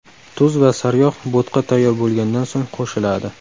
Tuz va saryog‘ bo‘tqa tayyor bo‘lgandan so‘ng qo‘shiladi.